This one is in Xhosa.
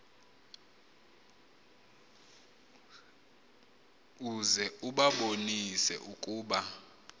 uze ubabonise ukuba